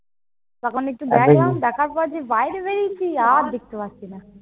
তখন একটু দেখলাম। দেখার পর যেই বাইরে বেরিয়েছি, আর দেখতে পাচ্ছি না।